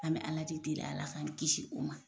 An bɛ Ala de deli Ala k'an kisi u ma.